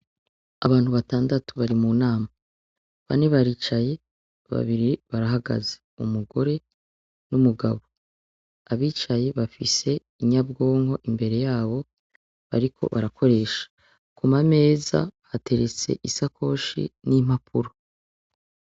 Abantu batandatu bari munama bane baricaye babiri barahagaze umugore n' umugabo abicaye bafise inyabwonko imbere yabo bariko barakoresha ku mameza hateretse ishakoshi ni impapuro.